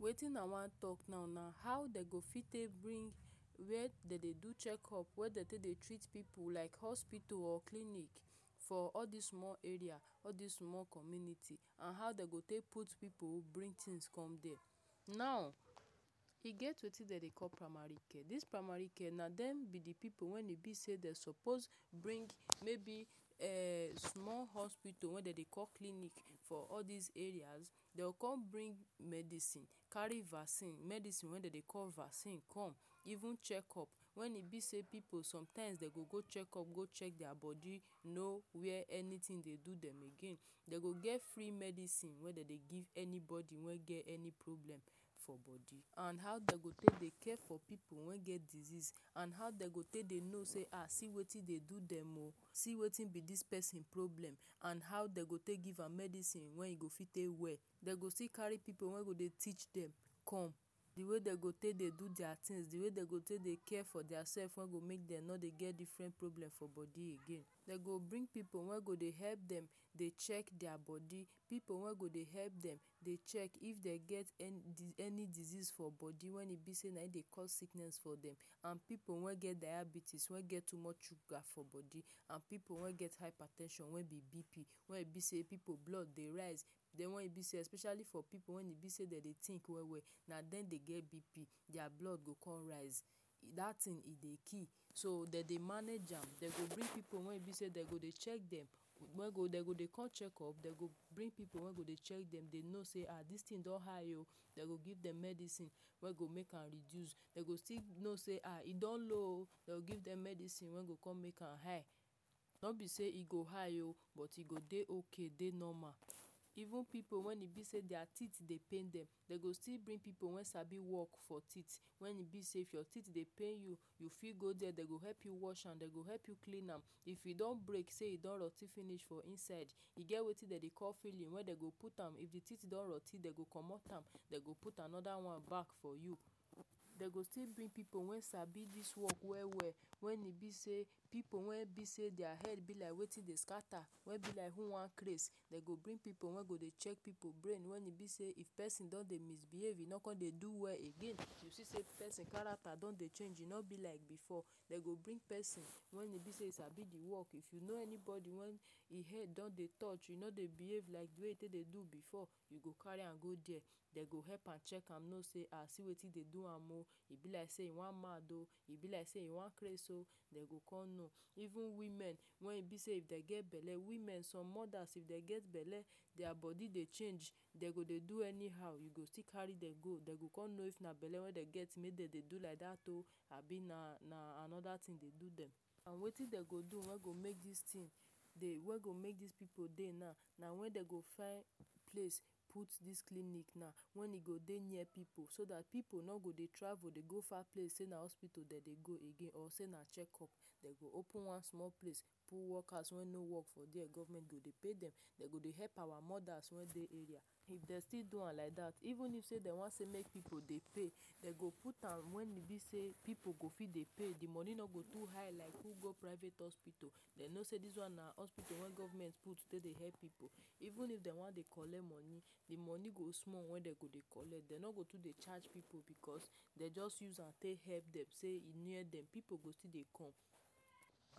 Wetin i wan talk now na how dem go fit take bring where dem dey do check up wey dem take dey treat pipu like hospital or clinic for all this small area all dese small community and how dem go take put pipu who bring things come dere now e get wetin dem dey call primary care this primary care na dem be de pipu wey dey be say dem suppose bring maybe um small hospital wey dem dey call clinic for all dese areas dey go come bring medicine carry vaccine medicine wey dem call vaccine come even check up when e be say pipu sometimes dem go go check up go check deir body no where anything dey do dem go get free medicine wey dem dey give anybody wey get any problem for body an how dey care for pipu wey get disease and how dem go take dey know say um see wetin dey do dem o see wetin be this person problem and how dem go take give am medicine wey e go fit take well dem go still carry pipu wey go dey teach dem come de way dem go take dey do deir things de way dem go take dey care for deir self wey go make dem no dey get different problem for body again dem go bring pipu wen go dey help dem dey check deir body pipu wey go dey help dem dey check if dey get any diseases for body when e be sey na em dey cause sickness for dem and pipu wey get diabetes wey get too much sugar for body and pipu wey get hyper ten sion wey be B.P wen e be say pipu blood dey rise den when e be say especially for pipu when e be sey dey dey think well well na dem dey get B.P deir blood dey come rise that thing e dey kill so dem dey manage am de go bring pipu wey be sey dem go dey check dem wey go dem go dey come check up dem go bring pipu wey go dey check dem dey know sey ah this thing don high oh dem go give dem medicine wey go make am reduce dem go still know sey um e don low o dem go give dem medicine wey go come make am high don be say e go high oh but e go dey okay dey normal even pipu wey dey be sey deir teeth dey pain dem, dem go still bring pipu when sabi work for teeth when e be sey if your teeth dey pain you, you fit go dere dem go help you watch am dem go help you clean am if you don break sey e don roti finish for inside e get wetin dem dey call filing wey dem go put am if de teeth don roti dem go comot am dem go put anoder one back for you dey go still bring pipu wey sabi dis work well well wen e be sey pipu wey be sey deir head be like wetin dey scatter wey be like who wan craze dem go bring pipu wey go dey check pipu brain wen e be sey if person don dey misbehave you no come dey do well again you see say person character don dey change e no be like before dem go bring person when e be sabi di work if you know anybody e head don dey touch you no dey behave like wetin dey do before you go carry am go deir dey go help am check am know sey as see wetin dey do am o e be like say e wan mad oh e be like say e wan crase oh dem dey come know even women wen e be say if dem get belle women some moders if dem get belle deir body dey change dem go dey do anyhow you go still carry dem go dem go come know say belle wey dem get do like dat o abi na na anoder thing dey do dem and wetin dey go do wey dey make this thing wey dey make dis pipu dey na, na when dem go find place put this clinic na when dey go dey near pipu so that pipu no go dey travel dey go far place say na hospital dem dey go again or sey na check up open one small place put workers wey no work for dere government dey go pay dem dey go dey help our moders wey dey area if dey still do am like that even use sey dem wan say make pipu dey pay dem go put am when de say pipu go fit dey pay de money no go do too high like who go private hospital dem know sey this one na hospital wey government put take dey help pipu even if dem wan dey collect money de money go small wey dem go dey collect dem no go do dey charge pipu because dey just use am pay help head deck sey e near dem pipu go still dey come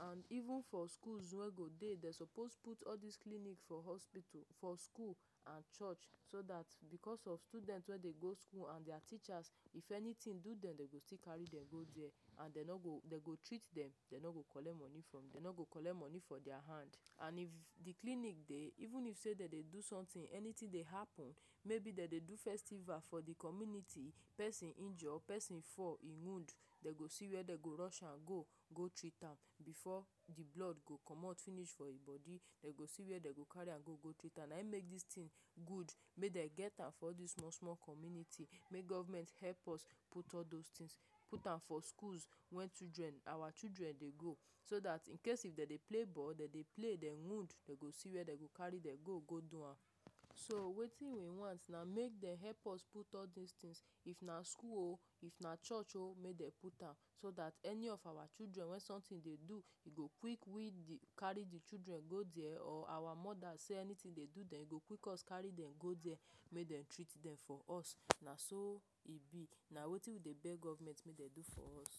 and even for schools wey go dey dem suppose put all dis clinic for hospital for school and church so that because of students wey dey go school and deir teachers if any do dem dem dey go go dere and dem no go dem go treat dem dem no go collect money from dey no go collect money from deir hand and if de clinic dey even sey dem dey do something anything dey happen maybe dem dey do festival for de community person injure person fall in wound dem go see where dem go rush am go go treat am before di blood go comot finish for im body dem go see where dem go carry am go, go treat am na im make this thing good make dem get am for this small community make government help us put all those things put am for schools wey children our children dey go so dat incase if dem dey play ball dem dey play de wound see where dem go carry dem go, go do am so wetin we want na make dem help us put all dese things if na school oh if na church oh make dem put am so that any of our children wey something dey do e go quick we dey carry de children go dere or our moders sey anything dey do dem pick us carry dem go dey make dem treat for us na so e be na wetin we dey beg government wen dey do for us